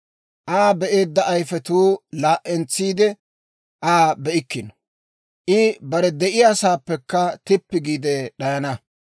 Aa be'eedda ayifetuu laa"entsiide, Aa be'ikkino; I bare de'iyaasaappekka tippi giide d'ayana.